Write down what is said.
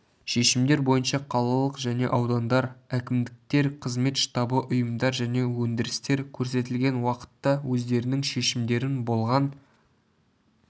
шешімдер бойынша қалалық және аудандар әкімдіктер қызмет штабы ұйымдар және өндірістер көрсетілген уақытта өздерінің шешімдерін болған